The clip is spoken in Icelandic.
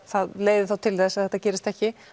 það leiði þá til þess að það gerist ekki